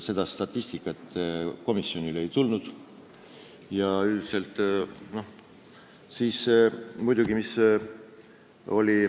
Seda statistikat komisjonile ei antud.